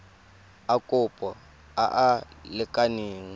a kopo a a lekaneng